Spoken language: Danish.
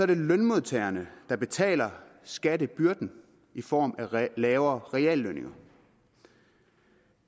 det lønmodtagerne der betaler skattebyrden i form af lavere reallønninger